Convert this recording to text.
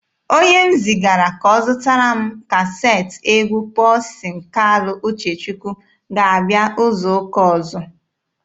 Onye m zigara ka ọ zụtara m kaseetị egwu Pọlsin Kalụ Uchechukwu ga-abịa izu ụka ọzọ.